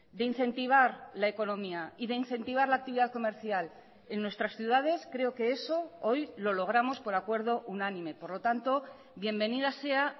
de incentivar la economía y de incentivar la actividad comercial en nuestras ciudades creo que eso hoy lo logramos por acuerdo unánime por lo tanto bienvenida sea